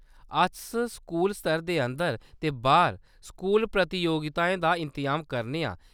अस स्कूल स्तर दे अंदर ते बाह्‌‌र स्कूल प्रतियोगिताएं दा इंतजाम करने आं।